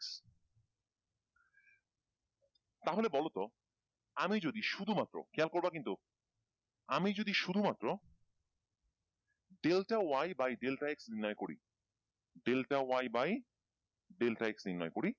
তাহলে বলতো আমি যদি শুধুমাত্র খেয়াল করবা কিন্তু আমি যদি শুধুমাত্র delta y by delta x নির্ণয় করি delta y by delta x নির্ণয় করি,